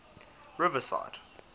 riverside